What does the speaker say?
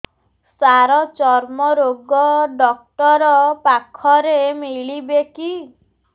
ସାର ଚର୍ମରୋଗ ଡକ୍ଟର ପାଖରେ ମିଳିବେ କି